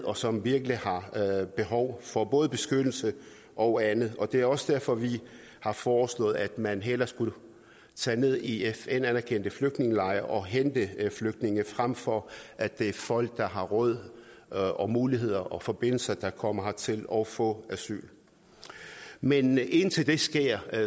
og som virkelig har behov for både beskyttelse og andet det er også derfor vi har foreslået at man hellere skulle tage ned i fn anerkendte flygtningelejre og hente flygtninge frem for at det er folk der har råd og og muligheder og har forbindelser der kommer hertil og får asyl men indtil det sker er